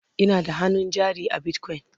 Ina da hannun jari a bitcoin